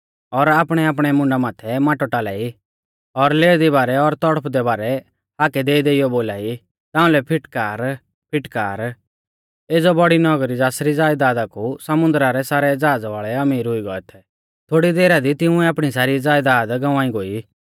और आपणैआपणै मुंडा माथै माटौ टालाई और लेरदी बारै और तौड़फदै बारै हाकै देईदेइयौ बोलाई ताउंलै फिटकार फिटकार एज़ौ बौड़ी नगरी ज़ासरी ज़यदादा कु समुन्दरा रै सारै ज़हाज़ वाल़ै अमीर हुई गौऐ थै थोड़ी देरा दी तिंउऐ आपणी सारी ज़यदाद गंवाई गोई